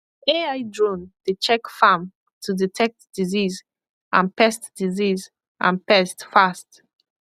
ai drone dey check farm to detect disease and pest disease and pest fast